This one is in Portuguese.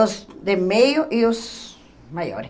Os de meio e os maiores.